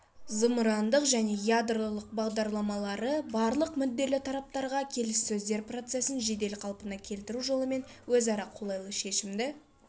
зымырандық және ядролық бағдарламалары барлық мүдделі тараптарға келіссөздер процесін жедел қалпына келтіру жолымен өзара қолайлы шешімді